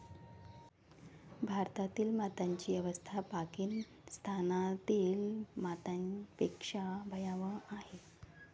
भारतातील मातांची अवस्था पाकिस्तानातील मातांपेक्षा भयावह आहे.